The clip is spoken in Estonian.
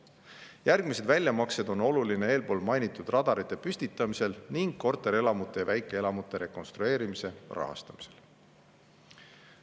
Järgmised väljamaksed on olulised eelmainitud radarite püstitamiseks ning korterelamute ja väikeelamute rekonstrueerimise rahastamiseks.